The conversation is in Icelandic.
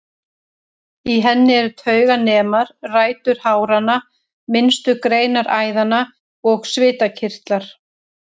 Í henni eru tauganemar, rætur háranna, minnstu greinar æðanna og svitakirtlar.